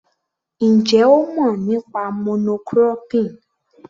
Ǹjẹ́ ó mọ̀ nípa mono cropping?